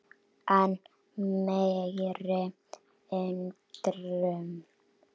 Enn meiri undrun